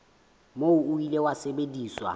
moo o ile wa sebediswa